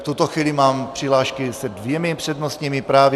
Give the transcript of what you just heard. V tuto chvíli mám přihlášky s dvěma přednostními právy.